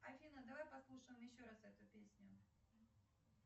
афина давай послушаем еще раз эту песню